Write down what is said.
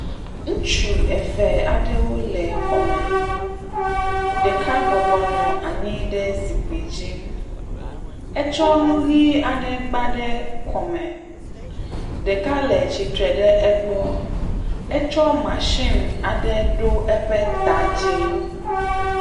Ŋutsu eve aɖewo le xɔme, ɖeka bɔbɔ nɔ anyi ɖe zikpui dzi. Etsɔ nu ʋɛ̃ aɖe gba ɖe kɔme, ɖeka le tsitre ɖe egbɔ. Etsɔ matsin aɖe ɖo eƒe ta dzi.